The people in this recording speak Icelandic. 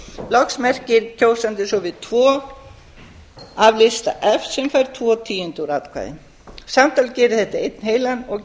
loks merkir kjósandinn svo við tvo af lista f sem fær tvo tíundu úr atkvæði samtals gerir þetta einn heilan og